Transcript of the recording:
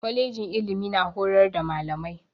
Kwalejin ilimi na horar da malamai.